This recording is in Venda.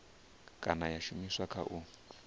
kana ya shumiswa kha u